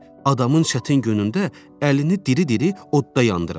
Adamın çətin günündə əlini diri-diri odda yandırar.